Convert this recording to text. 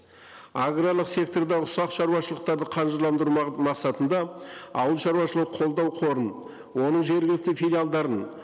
аграрлық секторда ұсақ шаруашылықтарды қаржыландыру мақсатында ауыл шаруашылығы қолдау қорын оның жергілікті филиалдарын